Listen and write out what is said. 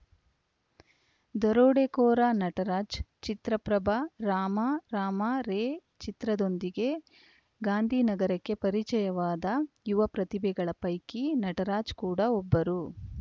ದರೋಡೆಕೋರ ನಟರಾಜ ಚಿತ್ರಪ್ರಭ ರಾಮಾ ರಾಮಾ ರೇಚಿತ್ರದೊಂದಿಗೆ ಗಾಂಧಿನಗರಕ್ಕೆ ಪರಿಚಯವಾದ ಯುವ ಪ್ರತಿಭೆಗಳ ಪೈಕಿ ನಟರಾಜ್‌ ಕೂಡ ಒಬ್ಬರು